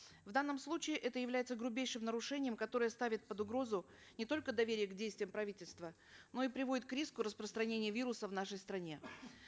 в данном случае это является грубейшим нарушением которое ставит под угрозу не только доверие к действиям правительства но и приводит к риску распространения вируса в нашей стране